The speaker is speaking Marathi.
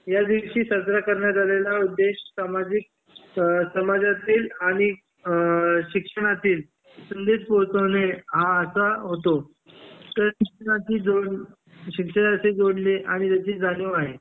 या दिवशी साजरा करण्यात आलेला उद्देश सामाजिक स समाजातील आणि अ शिक्षणतील संदेश पोहोचवणे हा असा होतो तर शिक्षणाची जोड शिक्षणाची जोडणे याची जाणीव आहे